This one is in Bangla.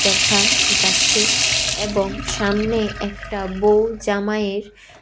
দেখা যাচ্ছে এবং সামনে একটা বউ জামাইয়ের --